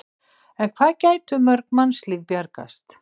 En hvað gætu mörg mannslíf bjargast?